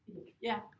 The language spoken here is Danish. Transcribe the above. Ja